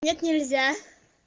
нет нельзя